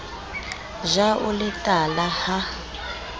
ja o le tala ha